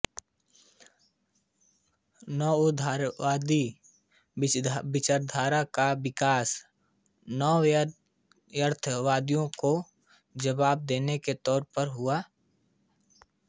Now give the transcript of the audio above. नवउदारवादी विचारधारा का विकास नवयथार्थवादियोंको जवाब देने के तौर पर हुआ